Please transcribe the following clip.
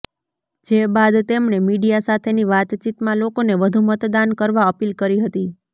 જે બાદ તેમણે મીડિયા સાથેની વાતચીતમાં લોકોને વધુ મતદાન કરવા અપીલ કરી હતી